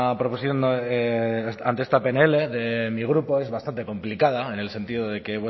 proposición no de ante esta pnl de mi grupo es bastante complicada en el sentido de que